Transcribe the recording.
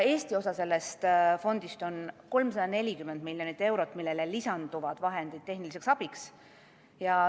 Eesti osa sellest fondist on 340 miljonit eurot, millele lisanduvad vahendid tehniliseks abiks.